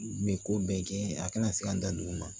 Nin ko bɛɛ kɛ a kana se ka n da don olu ma